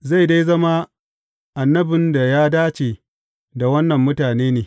zai dai zama annabin da ya dace da wannan mutane ne!